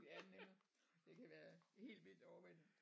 ja netop det kan være helt vildt overvældende